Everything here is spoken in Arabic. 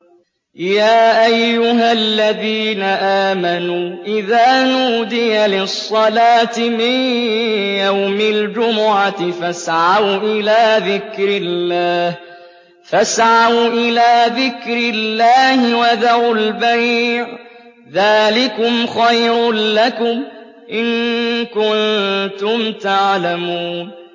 يَا أَيُّهَا الَّذِينَ آمَنُوا إِذَا نُودِيَ لِلصَّلَاةِ مِن يَوْمِ الْجُمُعَةِ فَاسْعَوْا إِلَىٰ ذِكْرِ اللَّهِ وَذَرُوا الْبَيْعَ ۚ ذَٰلِكُمْ خَيْرٌ لَّكُمْ إِن كُنتُمْ تَعْلَمُونَ